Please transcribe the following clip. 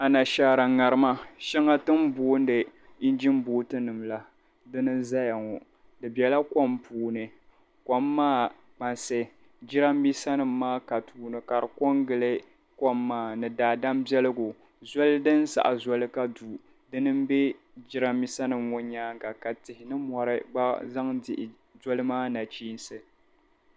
Iginibotunima n be kom puuni, kom maa kpansi jaramisanima mini daadama gba be ni, ka zoli din galisi ka du be jiramisanima maa nyaaŋga ka tihi mini mɔri kuli pe gili l.